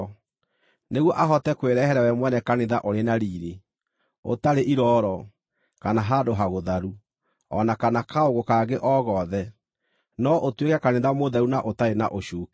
nĩguo ahote kwĩrehere we mwene kanitha ũrĩ na riiri, ũtarĩ irooro kana handũ hagũtharu, o na kana kaũũgũ kangĩ o gothe, no ũtuĩke kanitha mũtheru na ũtarĩ na ũcuuke.